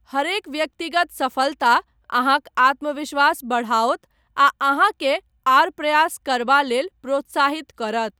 हरेक व्यक्तिगत सफलता अहाँक आत्मविश्वास बढ़ाओत आ अहाँकेँ आर प्रयास करबा लेल प्रोत्साहित करत।